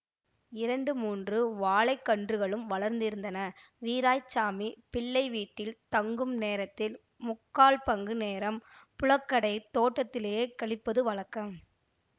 இரண்டு மூன்று வாழைக் கன்றுகளும் வளர்ந்திருந்தன வீராய்ச்சாமிப் பிள்ளை வீட்டில் தங்கும் நேரத்தில் முக்கால் பங்கு நேரம் புழக்கடைத் தோட்டத்திலேயே கழிப்பது வழக்கம்